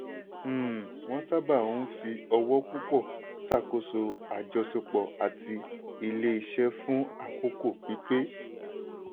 um wọ́n sábà ń fi owó púpọ̀ ṣàkóso àjọṣepọ̀ àti ilé-iṣẹ́ fún àkókò pípẹ́.